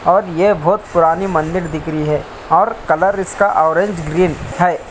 और ये बहुत पुरानी मंदिर दिख रही है और कलर इसका ऑरेंज ग्रीन है।